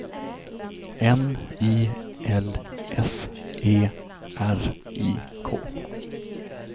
N I L S E R I K